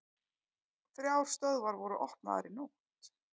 Þrjár stöðvar voru opnaðar í nótt